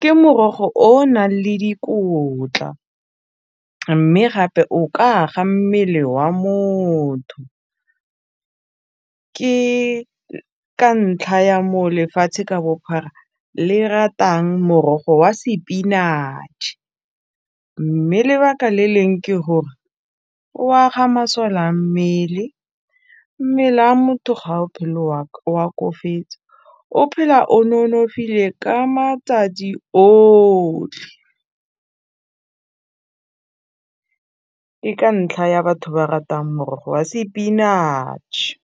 ke morogo o nang le dikotla, mme gape o ka aga mmele wa motho, ke ka ntlha ya mo lefatshe ka bophara le ratang morogo wa sepinatšhe mme lebaka le leng ke gore o aga masole a mmele, mmele a motho ga otlhe o , o phela o nonofile ka madi otlhe ke ka ntlha ya batho ba ratang morogo wa sepinatšhe.